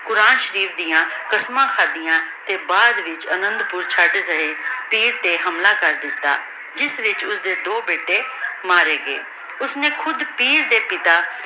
ਕੁਰਾਨ ਸ਼ਰੀਫ਼ ਡਿਯਨ ਕਸਮਾਂ ਖਾਦਿਯਾਂ ਤੇ ਬਾਅਦ ਚ ਓਹਨਾਂ ਨੂ ਚੜ ਗਾਯ ਤੇ ਹਮਲਾ ਕਰ ਦਿਤਾ ਜਿਸ ਵਿਚ ਓਸਦੀ ਦੋ ਬੇਟੀ ਮਾਰੇ ਗਾਯ ਓਸ੍ਨੀ ਖੁਦ